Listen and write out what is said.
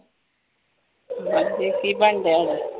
ਹਾਂਜੀ ਕੀ ਬਣਨ ਡਿਆ ਹੈਗਾ